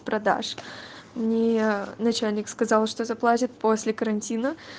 продашь мне начальник сказал что заплатит после карантина